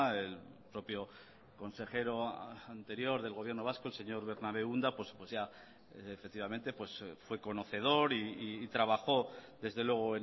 el propio consejero anterior del gobierno vasco el señor bernabe unda pues ya efectivamente fue conocedor y trabajó desde luego